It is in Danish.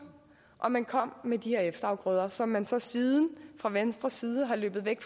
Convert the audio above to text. og man kom med de her efterafgrøder som man så siden fra venstres side er løbet væk